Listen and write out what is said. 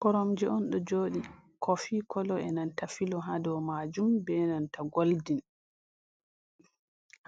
Koromje on ɗo joɗi kofi kolo e'nanta filo ha dow majum be nanta goldin